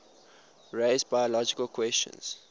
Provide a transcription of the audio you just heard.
raise biological questions